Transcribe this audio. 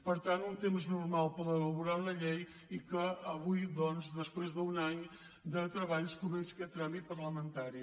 per tant un temps normal per elaborar una llei i que avui doncs després d’un any de treballs comença aquest tràmit parlamentari